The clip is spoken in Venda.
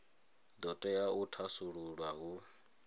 do tea u thasululwa hu